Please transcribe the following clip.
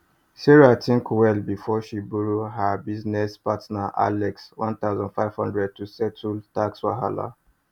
sarah think well before she borrow her business partner alex 1500 to settle tax wahala